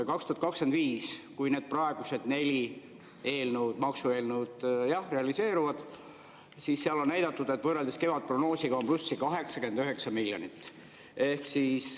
2025, kui need praegused neli maksueelnõu realiseeruvad, siis seal on näidatud, et võrreldes kevadprognoosiga on plussi 89 miljonit.